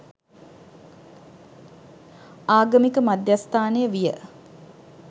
ආගමික මධ්‍යස්ථානය විය.